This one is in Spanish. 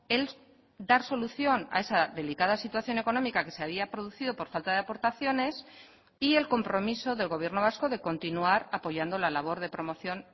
el dar solución a esa delicada situación económica que se había producido por falta de aportaciones y el compromiso del gobierno vasco de continuar apoyando la labor de promoción